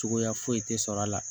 Cogoya foyi tɛ sɔrɔ a la